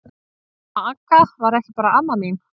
Amma Agga var ekki bara amma mín.